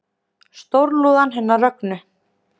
Stórlúðan hennar Rögnu